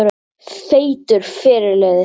Feitur fyrirliði?